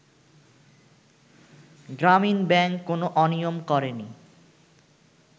গ্রামীন ব্যাংক কোন অনিয়ম করেনি